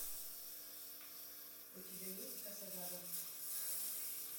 у тебя есть кассадага